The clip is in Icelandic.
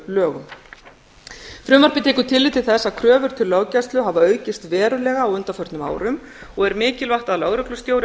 lögreglulögum frumvarpið tekur tillit til þess að kröfur til löggæslu hafa aukist verulega á undanförnum árum og er mikilvægt að lögreglustjóri á